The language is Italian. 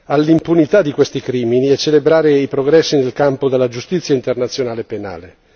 all'impunità di questi crimini e celebrare i progressi nel campo della giustizia internazionale penale.